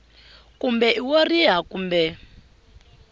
kumbe i wo riha kumbe